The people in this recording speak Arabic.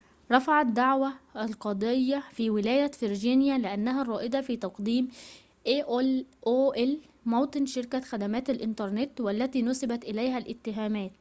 رٌفعت دعوى القضية في ولاية فرجينيا لأنها موطن شركة aol الرائدة في تقديم خدمات الإنترنت والتي نٌسِبت إليها الاتهامات